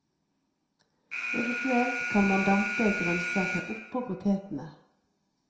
Eventuelt kan man dampe grønnsaker oppå potetene.